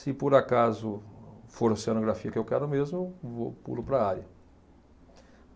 Se por acaso for oceanografia que eu quero mesmo, vou pulo para a área.